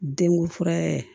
Denkunfura